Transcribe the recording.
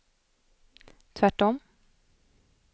tvärtom